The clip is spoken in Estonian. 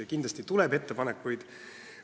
Kindlasti tuleb ettepanekuid.